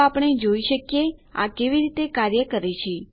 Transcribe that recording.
તો આપણે જોઈ શકીએ આ કેવી રીતે કાર્ય કરે છે